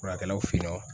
Furakɛlaw fe ye nɔ